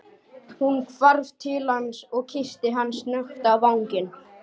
Hún hvarf til hans og kyssti hann snöggt á vangann.